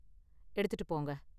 எடுத்துட்டு போங்க.